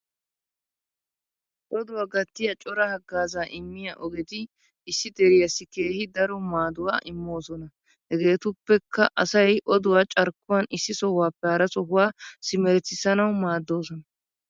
Odduwa gattiya cora hagazza immiya oggeti issi deriyas keehi daro maadduwa immoosona. Hegetuppekka asay odduwa carkkuwan issi sohuwappe hara sohuwa simeretissanawu maaddoosona.